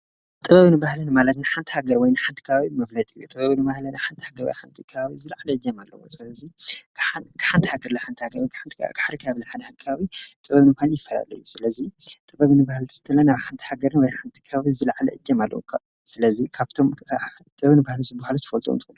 ጥበብ ኒ ባህለን ማለትን ሓንት ሃገር ወይ ን ሓንቲ ካባ ምብለጢ ጥበብ ኑ ባህለን ሓንቲ ሕገር ወይ ሓንቲ ካብ ዝለዕለ እጀመ ኣለዎ ጸለዙይ ክሓንት ሃገር ለ ሓንታ ሃገረ ወን ሓንሓሪ ካ ኣብል ሓንሓካዊይ ጥበብኑ ኳን ይፈለለዩ ስለዙይ ጥበብ ንባህል ትእንተለ ናብ ሓንቲ ሃገር ነ ወይ ሓንቲ ካበት ዝለዕለ እጀም ኣለዉ ስለዙይ ካብቶም ጥበብንባህለሱ ብሃሉት ፈወልጦምት?